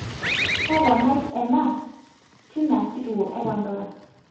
toponai ena te ena kituo ee pandora